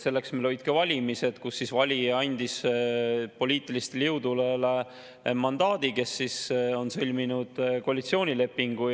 Selleks meil olid ka valimised, kus valija andis poliitilistele jõududele mandaadi, kes on sõlminud koalitsioonilepingu.